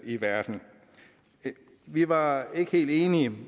i verden vi var ikke helt enige